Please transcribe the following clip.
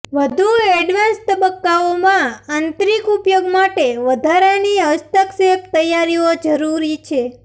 વધુ એડવાન્સ તબક્કાઓમાં આંતરિક ઉપયોગ માટે વધારાની હસ્તક્ષેપ તૈયારીઓ જરૂરી છે